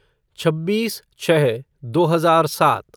छब्बीस छः दो हजार सात